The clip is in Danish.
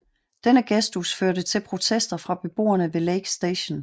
Denne gestus førte til protester fra beboerne ved Lake St